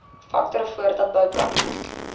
faktore voordat bouplanne